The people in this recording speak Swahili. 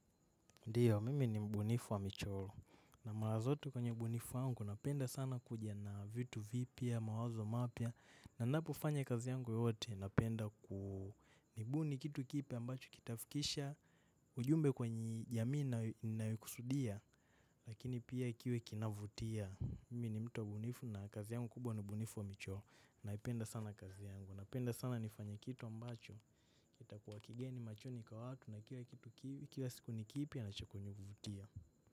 Ndiyo, mimi ni mbunifu wa michoro, na mara zote kwenye ubunifu wangu, napenda sana kuja na vitu vipya, mawazo mapya, na napofanya kazi yangu yote, napenda kubuni kitu kipa ambacho kitafikisha, ujumbe kwenye jamii nayokusudia, lakini pia kiwe kinavutia. Mimi ni mtu mbunifu, na kazi yangu kubwa ni ubunifu wa michoro. Naipenda sana kazi yangu, napenda sana nifanye kitu ambacho. Itakuwa kigeni machoni kwa watu na kila kitu kivi kila siku ni kipya nacho kunivutia.